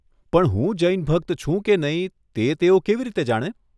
પણ હું જૈન ભક્ત છું કે નહીં તે તેઓ કેવી રીતે જાણે?